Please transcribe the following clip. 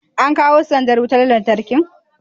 an kawo sandar wutar lantarkin?